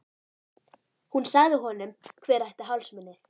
Hún sagði honum hver ætti hálsmenið.